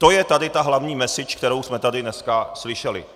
To je tady ta hlavní message, kterou jsme tady dneska slyšeli.